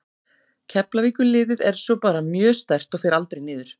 Keflavíkurliðið er svo bara mjög sterkt og fer aldrei niður.